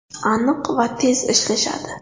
Aniq va tez ishlashadi.